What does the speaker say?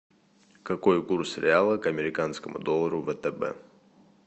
какой курс реала к американскому доллару втб